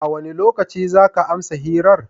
A wane lokaci za ka amsa hirar?